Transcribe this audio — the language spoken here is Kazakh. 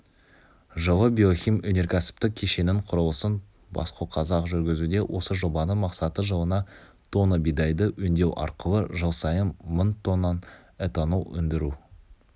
жылы биохим өнеркәсіптік кешенінің құрылысын баско қазақ жүргізуде осы жобаның мақсаты-жылына тонна бидайды өңдеу арқылы жыл сайын мың тоннан этанол өндіру